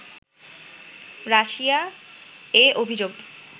Russia এ অভিযোগ